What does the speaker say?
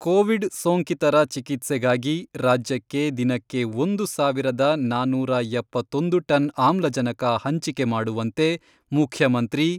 Covid ಸೋಂಕಿತರ ಚಿಕಿತ್ಸೆಗಾಗಿ ರಾಜ್ಯಕ್ಕೆ ದಿನಕ್ಕೆ ಒಂದು ಸಾವಿರದ ನಾನೂರ ಎಪ್ಪತ್ತೊಂದು ಟನ್ ಆಮ್ಲಜನಕ ಹಂಚಿಕೆ ಮಾಡುವಂತೆ ಮುಖ್ಯಮಂತ್ರಿ